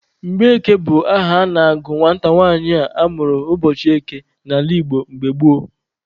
Mgbeke bụ aha a na-agụ nwata nwanyị a mụrụ ụbọchị eke n'ala Igbo mgbe gboo.